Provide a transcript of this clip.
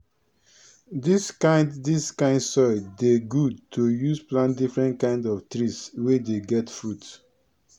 dis kind dis kind soil dey good to use plant different kind of trees wey dey get fruits